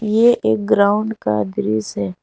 ये एक ग्राउंड का दृश्य है।